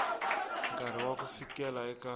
nkarhi wa ku fikela eka